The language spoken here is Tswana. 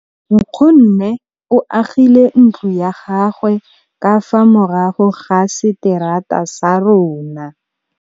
Nkgonne o agile ntlo ya gagwe ka fa morago ga seterata sa rona.